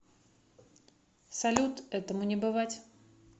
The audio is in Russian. салют этому не бывать